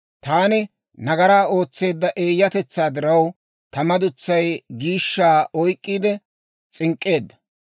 Taani nagaraa ootseedda eeyyatetsaa diraw, ta madutsay giishshaa oyk'k'iide s'ink'k'eedda.